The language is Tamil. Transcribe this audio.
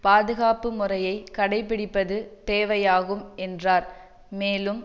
பாதுகாப்பு முறையை கடைபிடிப்பது தேவையாகும் என்றார் மேலும்